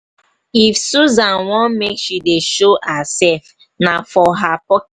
if susan want make she dey show herself na for her pock.